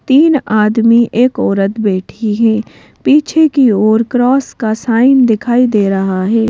तीन आदमी एक औरत बैठी है पीछे की ओर क्रॉस का साइन दिखाई दे रहा है।